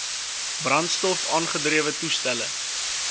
brandstof aangedrewe toestelle